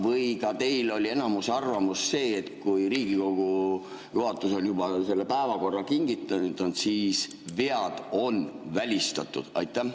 Või ka teil oli enamuse arvamus see, et kui Riigikogu juhatus on juba päevakorra kinnitanud, siis vead on välistatud?